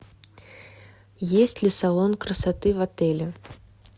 есть ли салон красоты в отеле